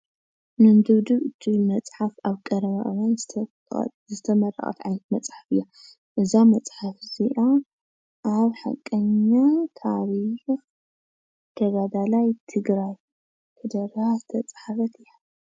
ምንድብድብ ትብል መፅሓፍ ኣብ ቀረባ እዋን ዝተመረቐት ዓይነት መፅሓፍ እያ፡፡ እዛ መፅሓፍ እዚኣ ኣብ ሓቀኛ ታሪኽ ተጋዳላይ ትግራይ ተደሪኻ ዝተፃሓፈት እያ፡፡